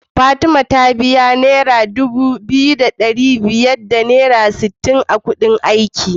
Fatima ta biya naira Dubu biyu da dari daya da sittin da Ƙudin aiki